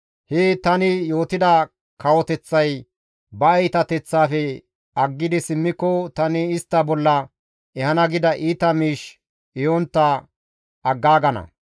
he tani yootida kawoteththay ba iitateththaafe aggidi simmiko, tani istta bolla ehana gida iita miish ehontta aggaagana.